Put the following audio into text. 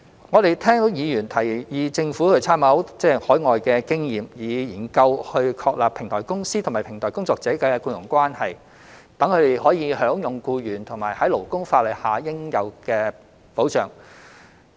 我們聽到議員提議政府應參考海外的經驗，以研究確立平台公司與平台工作者的僱傭關係，讓他們享有僱員於勞工法例下應有的保障。